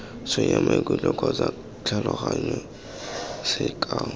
tshwenya maikutlo kgotsa tlhaloganyo sekao